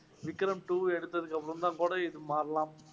Vikram two எடுத்ததுக்கு அப்புறம்தான் கூட இது மாறலாம்.